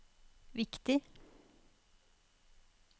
viktig